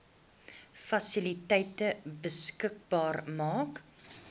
fasiliteite beskikbaar maak